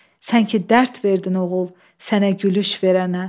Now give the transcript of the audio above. Sən ki dərd verdin oğul, sənə gülüş verənə.